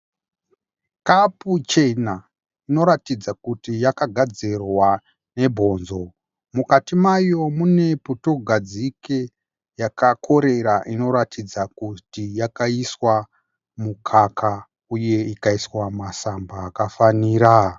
Kapu chena inoratidza kuti yakagadzirwa nebhonzo. Mukati mayo mune putugadzike yakakorera inoratidza kuti yakaiswa mukaka uye ikaiswa masamba akafanira.